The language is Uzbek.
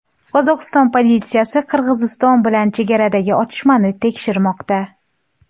Qozog‘iston politsiyasi Qirg‘iziston bilan chegaradagi otishmani tekshirmoqda.